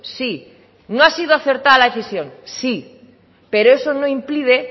sí no ha sido acertada la decisión sí pero eso no impide